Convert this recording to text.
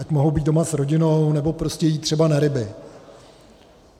Ať mohou být doma s rodinou nebo prostě jít třeba na ryby.